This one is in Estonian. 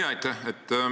Jah, aitäh!